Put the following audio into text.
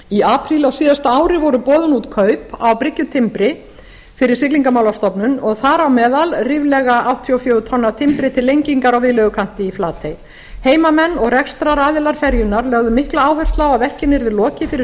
í apríl á síðasta ári voru boðin út kaup á bryggjutimbri fyrir siglingamálastofnun og þar á meðal ríflega áttatíu og fjögur tonn af timbri til lengingar á viðlegukanti í flatey heimamenn og rekstraraðilar ferjunnar lögðu mikla áherslu á að verkinu yrði lokið fyrir